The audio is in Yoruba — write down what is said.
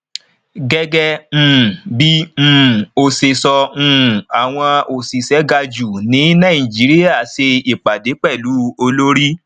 gẹgẹ um bí um o ṣe sọ um àwọn òṣìṣẹ ga jù ní nàìjíríà ṣe ìpàdé pẹlu olórí